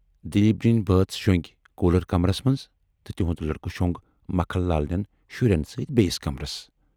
دلیٖپ جی یِن بٲژ شۅنگۍ کوٗلر کمرس منز تہٕ تِہُند لٔڑکہٕ شۅنگ مکھن لال نٮ۪ن شُرٮ۪ن سۭتۍ بییِس کمرس۔